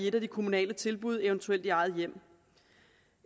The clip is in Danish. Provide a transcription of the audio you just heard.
et af de kommunale tilbud eventuelt i eget hjem